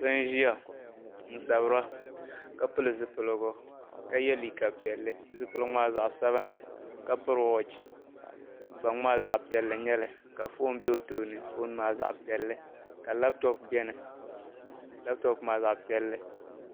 Sɔ n ʒiya n sabira ka pili zi piligu ka yeliiga piɛli zipiligu maa zaɣi sabinli gban maa zaɣi piɛli n nyɛli ka fɔn be ɔtooni fɔn maa zaɣi piɛli ka laptop beni laptop maa zaɣi piɛli.